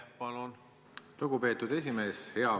Lugupeetud esimees!